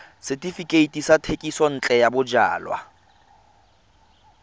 setefikeiti sa thekisontle ya bojalwa